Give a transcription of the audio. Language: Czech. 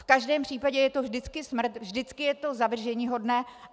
V každém případě je to vždycky smrt, vždycky je to zavrženíhodné.